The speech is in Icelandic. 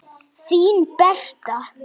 Þín Berta.